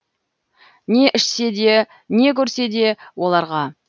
не ішсе де не көрсе де оларға